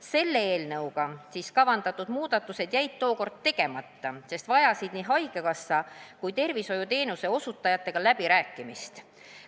Selle eelnõuga kavandatud muudatused jäid tookord tegemata, sest vajasid nii haigekassa kui ka tervishoiuteenuse osutajatega läbirääkimist.